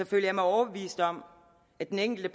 føler jeg mig overbevist om at den enkelte